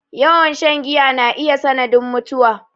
Yawan shan giya na iya sanadin mutuwa